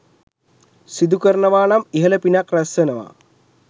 සිදු කරනවානම් ඉහළ පිනක් රැස්වෙනවා.